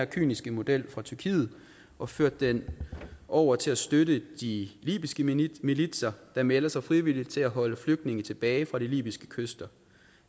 kyniske model fra tyrkiet og ført den over til at støtte de libyske militser der melder sig frivilligt til at holde flygtninge tilbage fra de libyske kyster